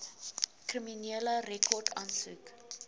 kriminele rekord aansoek